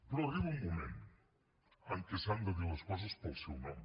però arriba un moment en què s’han de dir les coses pel seu nom